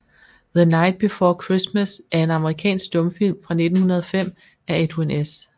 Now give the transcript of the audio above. The Night Before Christmas er en amerikansk stumfilm fra 1905 af Edwin S